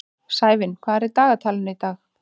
Sævin, hvað er í dagatalinu í dag?